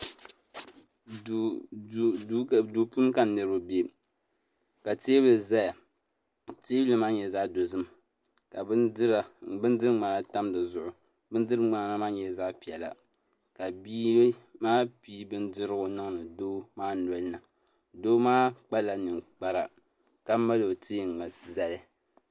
Duu puuni ka niraba bɛ ka teebuli ʒɛya teebuli maa nyɛla zaɣ dozim ka bindiri ŋmana tam dizuɣu bindiri ŋmana maa nyɛla zaɣ piɛla ka bia maa pii bindirigu niŋdi doo maa nolini doo maa kpala ninkpara ka mali o teengi zali